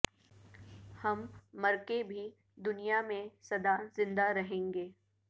ہم مر کے بھی دنیا میں سدا زندہ رہینگے